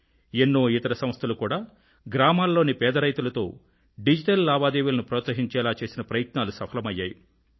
ఎన్నో ఇతర సంస్థలు కూడా గ్రామాల్లోని పేద రైతులతో డిజిటల్ లావాదేవీలను ప్రోత్సహించేలా చేసిన ప్రయత్నాలు సఫలమయ్యాయి